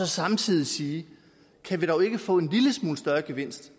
samtidig at sige kan vi dog ikke få en lille smule større gevinst